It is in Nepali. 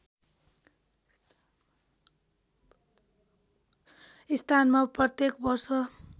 स्थानमा प्रत्येक वर्ष